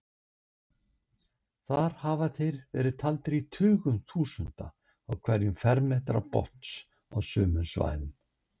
Þar hafa þeir verið taldir í tugum þúsunda á hverjum fermetra botns á sumum svæðum.